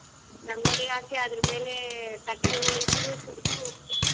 ರಂಗೋಲಿ ಹಾಕಿ ಅದರ ಮೇಲೆ ಕಟ್ಟಿಗೆಗೋಳು ಇಟ್ಟು ಸುತಲು.